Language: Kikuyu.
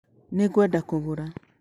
Nĩ ngwenda kũgũra